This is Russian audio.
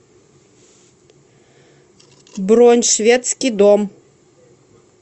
бронь шведский дом